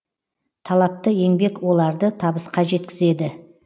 талапты еңбек оларды табысқа жеткізеді